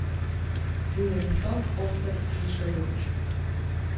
Bil je visok, oster, žvižgajoč.